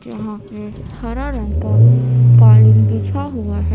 यहां पे हरा रंग का कालीन बिछा हुआ है।